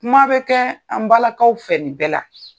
Kuma bɛ kɛ an balakaw fɛ nin bɛɛ la.